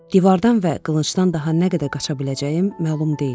Divardan və qılıncdan daha nə qədər qaça biləcəyim məlum deyil.